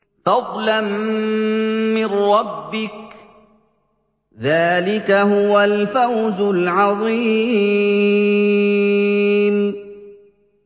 فَضْلًا مِّن رَّبِّكَ ۚ ذَٰلِكَ هُوَ الْفَوْزُ الْعَظِيمُ